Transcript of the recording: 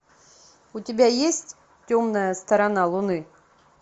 у тебя есть темная сторона луны